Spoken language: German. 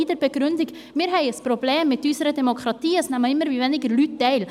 Wir haben ein Problem mit unserer Demokratie, es nehmen immer weniger Leute teil.